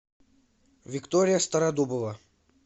виктория стародубова